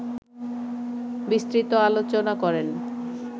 বিস্তৃত আলোচনা করেন